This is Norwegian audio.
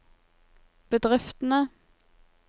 bedriftene